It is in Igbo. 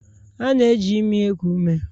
A na-eji imi eku ume